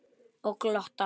Og glotta.